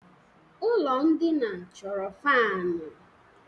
Ụlọ ndina chọrọ fanu